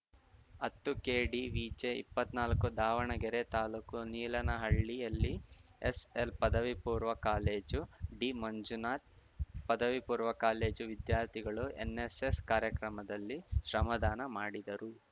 ಹತ್ತುಕೆಡಿವಿಜೆಇಪ್ಪತ್ನಾಲ್ಕು Davanagere taluk ನೀಲನಹಳ್ಳಿಯಲ್ಲಿ SL ಪದವಿ ಪೂರ್ವ college D Manjunath ಪದವಿ ಪೂರ್ವ ಕಾಲೇಜು ವಿದ್ಯಾರ್ಥಿಗಳು ಎನ್ನೆಸ್ಸೆಸ್‌ ಕಾರ್ಯಕ್ರಮದಲ್ಲಿ ಶ್ರಮದಾನ ಮಾಡಿದರು